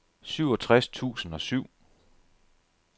syvogtres tusind og syv